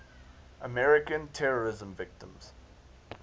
american terrorism victims